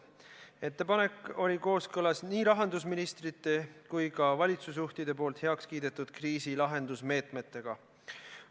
Ettepanek oli kooskõlas nii rahandusministrite kui ka valitsusjuhtide heakskiidetud kriisilahendusmeetmetega.